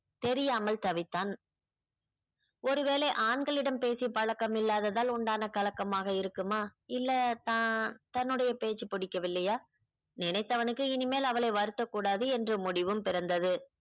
தெரியாமல் தவித்தான் ஒருவேளை ஆண்களிடம் பேசி பழக்கம் இல்லாததால் உண்டான கலக்கமாக இருக்குமா இல்லை தான் தன்னுடைய பேச்சு புடிக்கவில்லையா நினைத்தவனுக்கு இனிமேல் அவளை வருத்தக் கூடாது என்று முடிவும் பிறந்தது